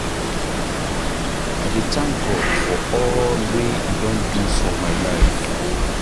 I dey thank God for all wey e don do for my life.